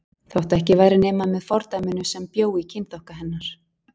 Þótt ekki væri nema með fordæminu sem bjó í kynþokka hennar.